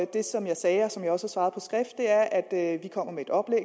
det som jeg sagde og som jeg også har svaret på skrift er at vi kommer med et oplæg